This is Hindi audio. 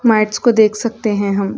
मेटस को देख सकते हैं हम।